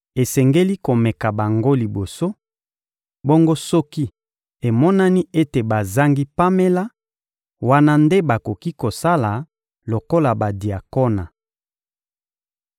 Esengeli komeka bango liboso; bongo soki emonani ete bazangi pamela, wana nde bakoki kosala lokola badiakona.